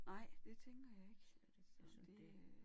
Nej det tænker jeg ikke så det øh